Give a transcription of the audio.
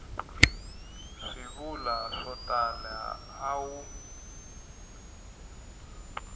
swivulwa swo tala a wu